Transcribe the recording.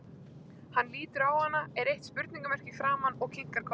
Hann lítur á hana, er eitt spurningamerki í framan, og kinkar kolli.